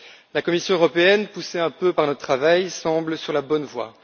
La Commission européenne, poussée un peu par notre travail, semble sur la bonne voie.